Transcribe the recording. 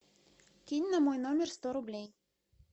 кинь на мой номер сто рублей